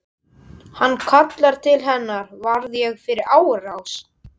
Hann kallar til hennar: Varð ég fyrir árás?